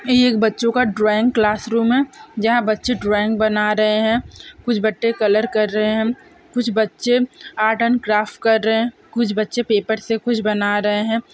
ये एक बच्चों का ड्राइंग क्लास रूम है जहाँ बच्चे ड्राइंग बना रहे हैं कुछ बच्चे कलर कर रहे हैं कुछ बच्चे आर्ट एन्ड क्राफ्ट कर रहे हैं कुछ बच्चे पेपर से कुछ बना रहे हैं।